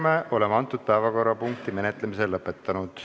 Me oleme selle päevakorrapunkti menetlemise lõpetanud.